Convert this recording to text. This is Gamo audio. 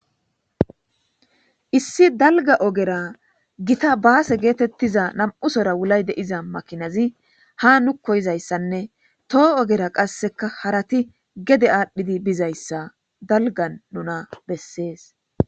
Issi dalga ogera gita baase geetettiza nam'usora wulay deiza makinazi ha nu koyizayssanne toho ogera qasseka harati gede aadhdhidi bizayssa dalgan nuna bessees.